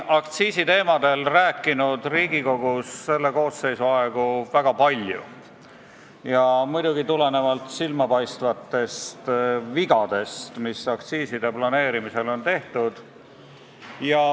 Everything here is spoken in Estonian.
Me oleme siin Riigikogus selle koosseisu aegu väga palju aktsiisiteemadel rääkinud ja muidugi tulenevalt silmapaistvatest vigadest, mida aktsiiside planeerimisel on tehtud.